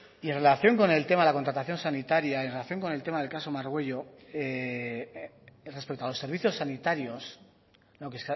y en relación con el tema de la contratación sanitaria en relación con el tema del caso margüello respecto a los servicios sanitarios lo que